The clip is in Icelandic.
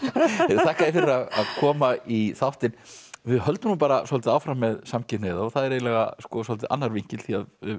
þakka þér fyrir að koma í þáttinn við höldum svolítið áfram með samkynhneigða og það er svolítið annar vinkill því